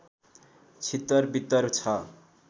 छितर वितर छ